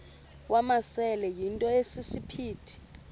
wamasele yinto esisiphithi